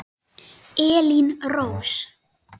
Elín Rós.